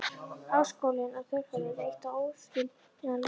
Háskólinn og þjóðfélagið er eitt og óaðskiljanlegt.